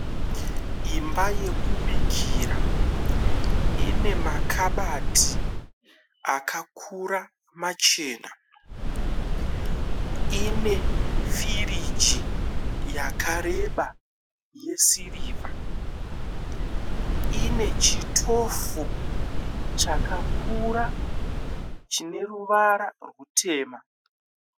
Imba yekubikira ine makabati akakura machena. Ine firiji yakareba yesirivha. Ine chitofu chakakura chine ruvara rwutema.